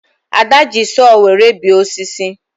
Ada ji sọọ were bee osisi